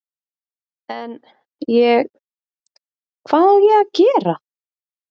En, ég, hvað á ég að gera?